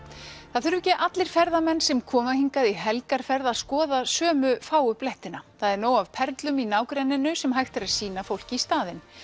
það þurfa ekki allir ferðamenn sem koma hingað í helgarferð að skoða sömu fáu blettina það er nóg af perlum í nágrenninu sem hægt er að sýna fólki í staðinn